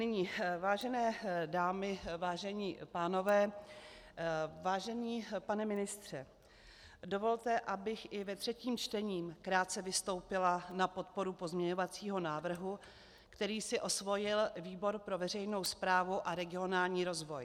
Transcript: Nyní, vážené dámy, vážení pánové, vážený pane ministře, dovolte, abych i ve třetím čtení krátce vystoupila na podporu pozměňovacího návrhu, který si osvojil výbor pro veřejnou správu a regionální rozvoj.